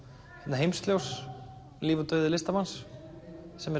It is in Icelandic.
Heimsljós líf og dauði listamanns sem er